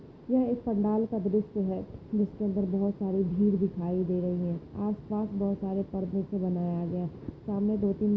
ये एक पंडाल का दृश है जीसके ऊपर बहुत सारी भीड़ दिखाई दे रही है आसपास बहुत सारे पर्दे से बनाया गया सामने दो तीन--